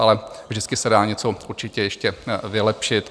Ale vždycky se dá něco určitě ještě vylepšit.